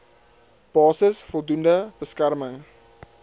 basis voldoende beskerming